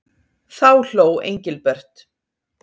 Þá hló Engilbert.